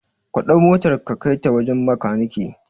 Kaɗau motar ka kai ta wajan makaneke